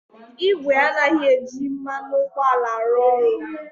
Igwe anaghị eji mmanụ ụgbọala arụ ọrụ.